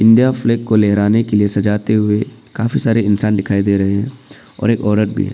India flag को लहराने के लिए सजाते हुए काफी सारे इंसान दिखाई दे रहे हैं और एक औरत भी है।